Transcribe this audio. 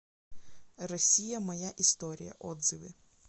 россия моя история отзывы